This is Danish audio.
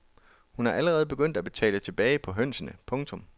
Hun er allerede begyndt at betale tilbage på hønsene. punktum